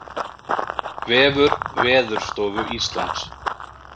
Vefur Veðurstofu Íslands